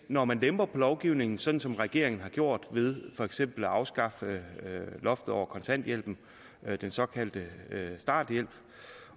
når man lemper på lovgivningen sådan som regeringen har gjort ved for eksempel at afskaffe loftet over kontanthjælpen den såkaldte starthjælp